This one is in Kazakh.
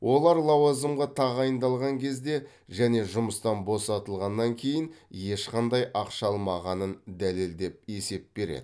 олар лауазымға тағайындалған кезде және жұмыстан босатылғаннан кейін ешқандай ақша алмағанын дәлелдеп есеп береді